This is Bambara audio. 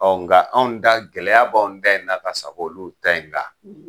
naga anw ta gɛlɛya b'an ta in na ka sag'olu ta in kan.